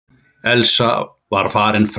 Elsa var farin fram.